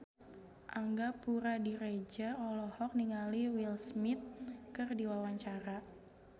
Angga Puradiredja olohok ningali Will Smith keur diwawancara